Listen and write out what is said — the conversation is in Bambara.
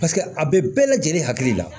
Paseke a bɛ bɛɛ lajɛlen hakili la